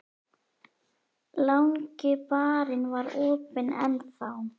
Langi barinn var opinn enn þá.